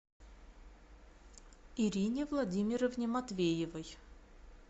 ирине владимировне матвеевой